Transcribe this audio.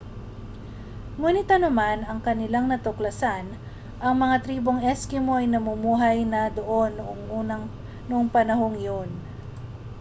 nguni't anuman ang kaniyang natuklasan ang mga tribong eskimo ay namumuhay na doon noong panahong iyon